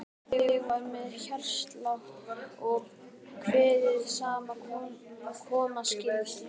Ég var með hjartslátt og kveið því sem koma skyldi.